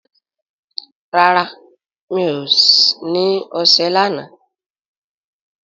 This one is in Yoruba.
rà rá mi'o ní ọṣẹ lànà